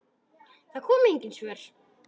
Það komu engin svör.